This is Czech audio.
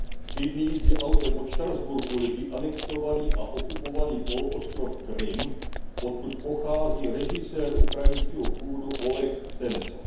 Tři dny jízdy autem od Štrasburku leží anektovaný a okupovaný poloostrov Krym, odkud pochází režisér ukrajinského původu Oleh Sencov.